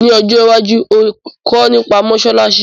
Ni ojo iwaju, óò kọ́ nipa mósálásí